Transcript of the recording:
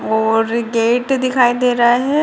और गेट दिखाई दे रहा है |